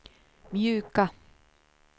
mjuka